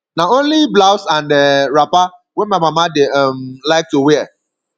na only blouse and um wrapper wey my mama dey um like to wear